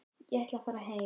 Ég ætla að fara heim.